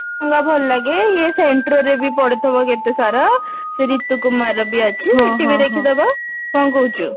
ଭଲ ଲାଗେ ଇଏ centro ରେ ବି ପଡିଥିବ କେତେ ସାରା ସେ ରିତୁ କୁମାର ର ବି ଅଛି ସେଠି ବି ଦେଖିଦବା କଣ କହୁଛୁ